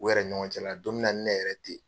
U yɛrɛ ni ɲɔgɔn cɛ la la donmina nin ne yɛrɛ ten ye.